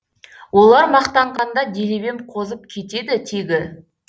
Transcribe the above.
олар мақтанғанда делебем қозып кетеді тегі